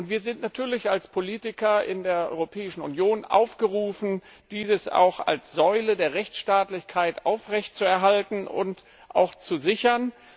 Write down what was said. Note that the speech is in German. Wir sind natürlich als Politiker in der Europäischen Union aufgerufen, dies auch als Säule der Rechtsstaatlichkeit aufrechtzuerhalten und auch zu sichern.